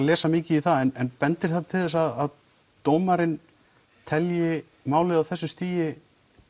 lesi of mikið í það en bendir það til þess að dómarinn telji málið á þessu stigi